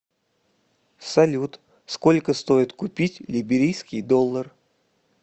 салют сколько стоит купить либерийский доллар